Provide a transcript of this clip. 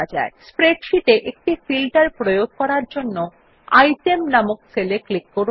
spreadsheet একটি filter প্রয়োগ করার জন্য আইটেম নামক সেল এ ক্লিক করুন